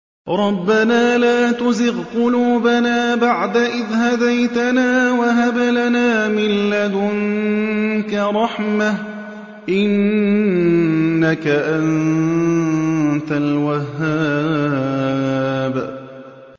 رَبَّنَا لَا تُزِغْ قُلُوبَنَا بَعْدَ إِذْ هَدَيْتَنَا وَهَبْ لَنَا مِن لَّدُنكَ رَحْمَةً ۚ إِنَّكَ أَنتَ الْوَهَّابُ